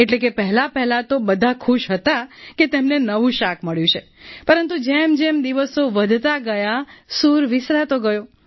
એટલે કે પહેલાપહેલાં તો બધા ખુશ હતા કે તેમને નવું શાક મળ્યું છે પરંતુ જેમજેમ દિવસો વધતા ગયા સૂર વિસરાતો ગયો